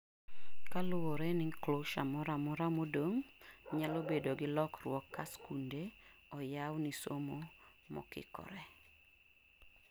kaluore ri closure moramora modong' nyalo bedo gi lokruok ka skunde oyaw ni somo mokikore